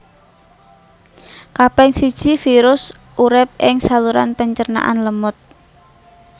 Kaping siji virus urip ing saluran pencernaan lemut